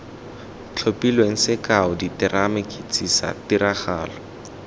tlhophilweng sekao diterama ketsisa tiragalo